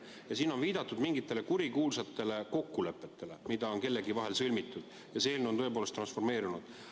Ühtlasi on siin viidatud mingitele kurikuulsatele kokkulepetele, mis on kellegi vahel sõlmitud, ja need on eelnõu tõepoolest transformeerinud.